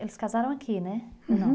Eles casaram aqui, né? Não